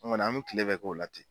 An kɔni an bɛ kile bɛɛ k'o la ten.